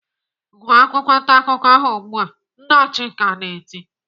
"Gụọ akwụkwọ ntaakụkọ ahụ ugbu a!" Nna Chika na-eti.